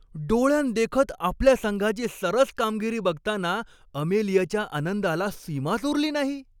डोळ्यांदेखत आपल्या संघाची सरस कामगिरी बघताना अमेलियाच्या आनंदाला सीमाच उरली नाही.